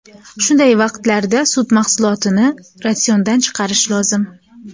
Shunday vaqtlarda sut mahsulotini ratsiondan chiqarish lozim.